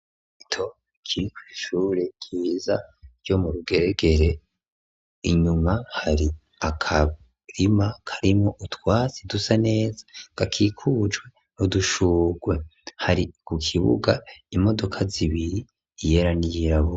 Rito Kiri kw'ishure ryiza ryo mu Rugeregere . Inyuma hari akarima karimo utwasi dusa neza kakikujwe hudushugwe hari ku kibuga imodoka zibiri yera niyirabura.